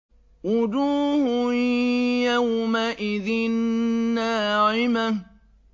وُجُوهٌ يَوْمَئِذٍ نَّاعِمَةٌ